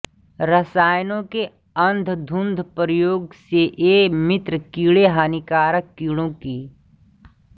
रासायनों के अन्धधुन्ध प्रयोग से ये मित्र किडे़ हानिकारक कीड़ो की